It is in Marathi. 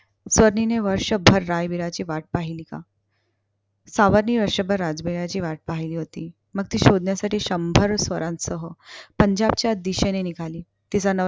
सावर्णिने वर्षभर रायबीराची वाट पहिली का. सावर्णिने वर्षभर राजबीराची वाट पहिली होती. मग ती शोधण्यासाठी शंभर स्वारांसह पंजाबच्या दिशेने निघाली. तिचा नवरा